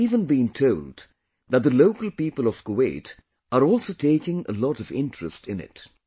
I have even been told that the local people of Kuwait are also taking a lot of interest in it